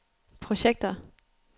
projekter